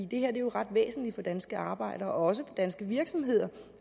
det her er jo ret væsentligt for danske arbejdere og også for danske virksomheder